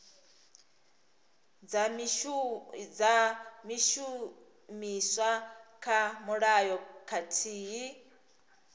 dza shumiswa kha mulayo khathihi